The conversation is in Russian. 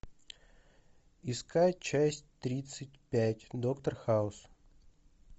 искать часть тридцать пять доктор хаус